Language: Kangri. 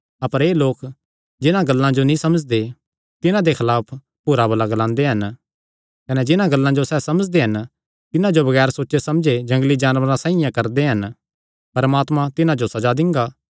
अपर एह़ लोक जिन्हां गल्लां जो नीं समझदे तिन्हां दे खलाफ बुरा भला ग्लांदे हन कने जिन्हां गल्लां जो सैह़ समझदे हन तिन्हां जो बगैर सोचे समझे जंगली जानवरां साइआं करदे हन परमात्मा तिन्हां जो सज़ा दिंगा